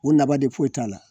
O nafa de foyi t'a la